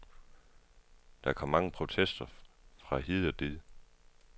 Der kom mange protester fra hid og did.